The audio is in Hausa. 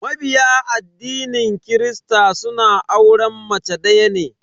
Mabiya addinin kirista suna auren mace daya ne.